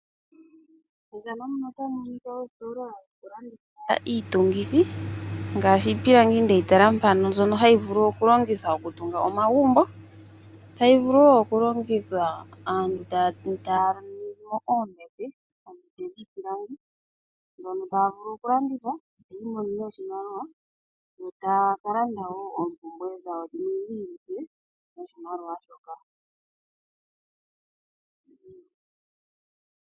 Methano muno otamu monika oositola dhoku landitha iitungithi ngaashi iipilangi ndeyi tala mpano mbyono hayi vulu oku longithwa oku tunga omagumbo. Tayi vulu wo oku longithwa aantu taya ningi mo oombete dhono taya vulu oku landitha taya monomo oshimaliwa yo taya vulu oku landa oompumbwe dhawo dhiili noshimaliwashoka.